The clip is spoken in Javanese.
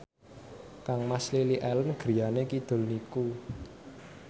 kangmas Lily Allen griyane kidul niku